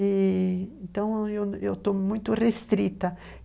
Então, eu estou muito restrita.